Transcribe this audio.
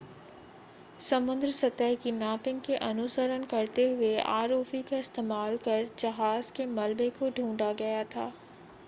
समुद्र सतह की मैपिंग को अनुसरण करते हुए आरओवी का इस्तेमाल कर जहाज़ के मलबे को ढूंढा गया था